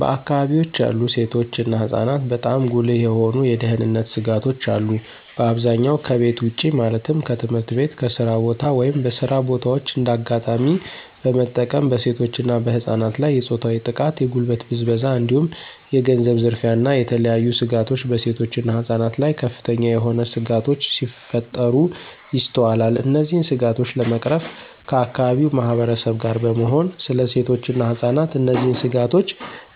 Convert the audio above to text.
በአከባቢወች ያሉ ሴቶች እና ህፃናትበጣም ጉልህ የሆኑ የደህንነት ስጋቶች አሉ። በአብዛኛው ከቤት ውጭ ማለትም ከትምህርት ቤት፣ ከስራ ቦታ፣ ወይም በስራ በታዎች እንደ አጋጣሚ በመጠቀም በሴቶች እና በህፃናት ላይ የፆታዊ ጥቃት፣ የጉልበት ብዝበዛ እንዲሁም የገንዘብ ዝርፊያ እና የተለያዬ ስጋቶች በሴቶች እና ህፃናት ላይ ከፍተኛ የሆነ ስጋቶች ሲፈጠሩ ይስተዋላል። እነዚህን ስጋቶች ለመቅረፍ ከአከባቢው ማህበረሰብ ጋር በመሆን ስለ ሴቶች እና ህፃናት እነዚህ ስጋቶች